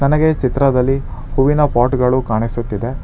ನನಗೆ ಚಿತ್ರದಲ್ಲಿ ಹೂವಿನ ಪಾಟ್ ಗಳು ಕಾಣಿಸುತ್ತಿದೆ.